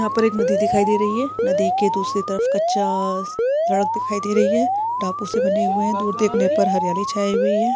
यहाँ पर एक नदी दिखाई दे रही है नदी के दूसरी तरफ कच्चा सड़क दिखाई दे रही है टापू से बने हुए है दूर देखने पर हरियाली छाई हुई है।